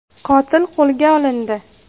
Qotil qo‘lga olindi.